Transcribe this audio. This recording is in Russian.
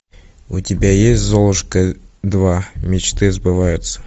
у тебя есть золушка два мечты сбываются